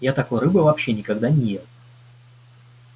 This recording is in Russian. я такой рыбы вообще никогда не ел